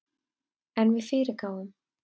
En við fyrirgáfum